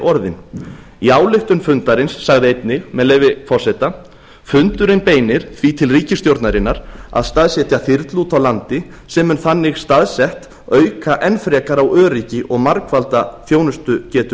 orðin í ályktun fundarins sagði einnig með leyfi forseta fundurinn beinir því til ríkisstjórnarinnar að staðsetja þyrlu úti á landi sem mun þannig staðsett auka enn frekar á öryggi og margfalda þjónustugetu